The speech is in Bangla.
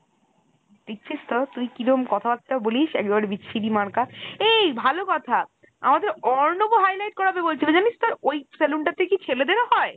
দেখছিস তো! তুই কিরাম কথাবার্তা বলিস একেবারে বিচ্ছিরি মার্কা, এই ভালো কথা আমাদের অর্ণব ও highlight করাবে বলছিলো জানিস তো ওই salone টাতে কি ছেলেদেরও হয়?